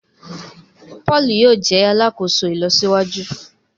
Paul yóò jé alàkóso ìlọsíwájú